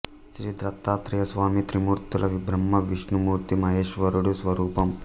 శ్రీ దత్తాత్రేయ స్వామి త్రిమూర్తుల బ్రహ్మ విష్ణు మూర్తి మహేశ్వరుడు స్వరూపం